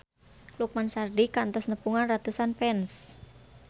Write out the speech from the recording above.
Lukman Sardi kantos nepungan ratusan fans